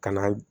Ka na